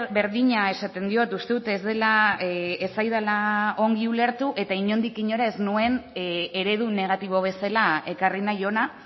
berdina esaten diot uste dut ez dela ez zaidala ongi ulertu eta inondik inora ez nuen eredu negatibo bezala ekarri nahi ona